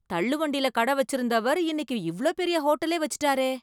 தள்ளுவண்டியில கடை வச்சிருந்தவர் இன்னைக்கு இவ்ளோ பெரிய ஹோட்டலே வச்சிட்டாரே!